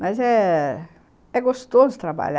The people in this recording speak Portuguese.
Mas é... É gostoso trabalhar.